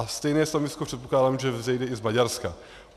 A stejné stanovisko předpokládám, že vzejde i z Maďarska.